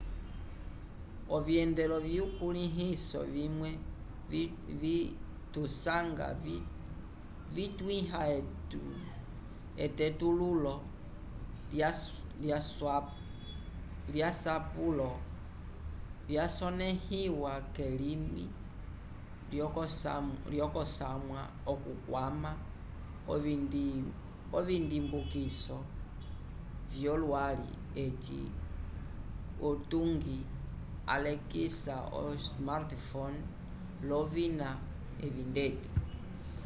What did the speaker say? ovyendelo vyukulĩhiso vimwe tusanga vitwĩha etetululo lyasapulo vyasonẽhiwa kelimi lyokosamwa okukwama ovindimbukiso vyolwali eci utungi alekisa o-smartphone l'ovina evi ndeti